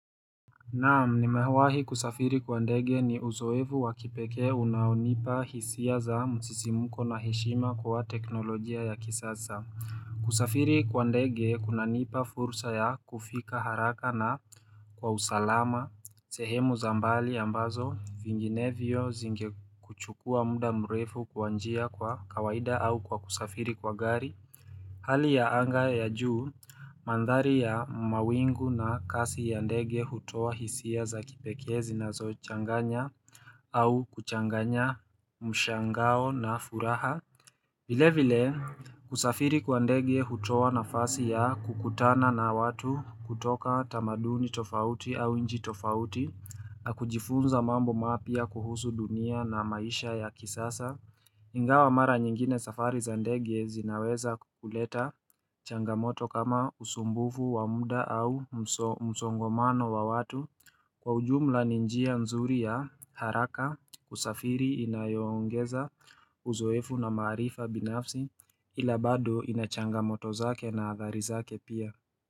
Naam nimewahi kusafiri kwa ndege ni uzoevu wa kipeke unaonipa hisia za msisimuko na heshima kwa teknolojia ya kisasa kusafiri kwa ndege kuna nipa fursa ya kufika haraka na kwa usalama sehemu za mbali ambazo vinginevyo zingekuchukua muda mrefu kwa njia kwa kawaida au kwa kusafiri kwa gari Hali ya anga ya juu, mandhari ya mawingu na kasi ya ndege hutoa hisia za kipekee zinazo changanya au kuchanganya mshangao na furaha. Vile vile, kusafiri kwa ndege hutoa nafasi ya kukutana na watu kutoka tamaduni tofauti au nchi tofauti, na kujifunza mambo mapya kuhusu dunia na maisha ya kisasa. Ingawa mara nyingine safari za ndege zinaweza kuleta changamoto kama usumbufu wa muda au msongomano wa watu Kwa ujumla ni njia nzuri ya haraka kusafiri inayoongeza uzoefu na maarifa binafsi ila bado ina changamoto zake na athari zake pia.